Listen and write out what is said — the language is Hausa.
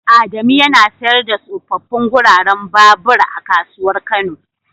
Adamu yana siyar da tsofaffin guraren babur a kasuwar kano.